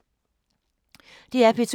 DR P2